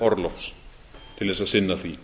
orlofs til þess að sinna því